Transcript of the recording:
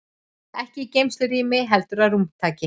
Ekki í geymslurými heldur að rúmtaki.